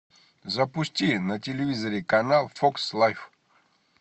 запусти на телевизоре канал фокс лайф